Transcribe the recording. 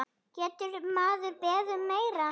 Getur maður beðið um meira?